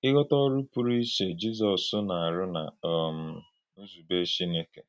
Ìghọ́tà Ọrụ̀ Pụrụ̀ Íchè Jízọs na-arụ̀ nà um Nzùbè Chínèkè.